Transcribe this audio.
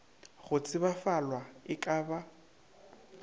go tsebalafwa e ka ba